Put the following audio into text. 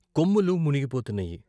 కొమ్ములు మునిగిపోతున్నాయి.